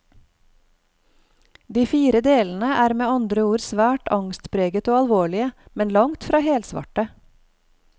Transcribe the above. De fire delene er med andre ord svært angstpreget og alvorlige, men langt fra helsvarte.